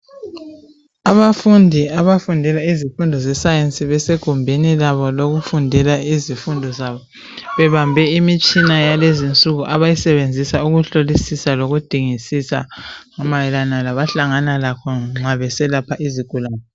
Abafundi abafundela izifundo zesayensi besegumbini labo lokufundela izifundo zabo bebambe imitshina yalezinsuku abayisebenzisa ukuhlolisisa lokudingisisa mayelana labahlangana lakho nxa beselapha izigulane.